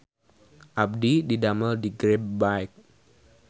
Abdi didamel di Grab Bike